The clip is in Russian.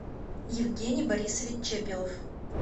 евгений борисович чепелов